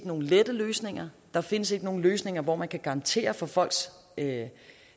nogen lette løsninger der findes ikke nogen løsninger hvor man kan garantere for for at